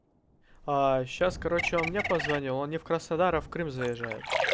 а сейчас короче он мне позвонил он не в краснодар а в крым заезжает